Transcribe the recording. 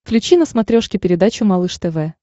включи на смотрешке передачу малыш тв